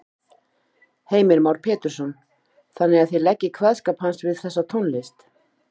Heimir Már Pétursson: Þannig að þið leggið kveðskap hans við þessa tónlist?